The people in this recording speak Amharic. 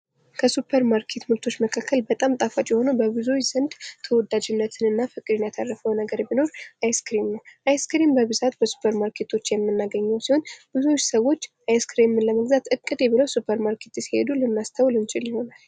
ከሱፐር ማርኬት ምርቶች መካከል በጣም ጣፋጭ የሆነው በብዙዎች ዘንድ ተወዳጅነትን እና ፍቅርን ያተረፈው ነገር ቢኖር አይስ ክሬም ነው። አይስ ክሬም በብዛት በሱፐር ማርኬቶች የምናገኘው ነገር ሲሆን ብዙ ሰዎች አይስ ክሬምን ለመግዛት እቅዴ ብለው ሱፐር ማርኬት ሲሄዱ ልናስተውል እንችል ይሆናል።